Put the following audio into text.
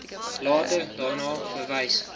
later daarna verwys